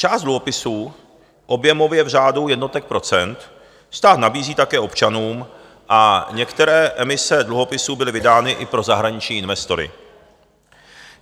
Část dluhopisů, objemově v řádu jednotek procent, stát nabízí také občanům a některé emise dluhopisů byly vydány i pro zahraniční investory.